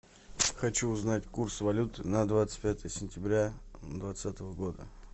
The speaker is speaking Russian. хочу узнать курс валют на двадцать пятое сентября двадцатого года